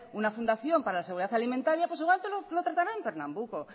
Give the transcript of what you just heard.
una fundación para la seguridad alimentaria pues igual te lo tratarán en pernambuco